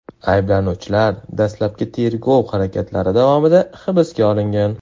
Ayblanuvchilar dastlabki tergov harakatlari davomida hibsga olingan.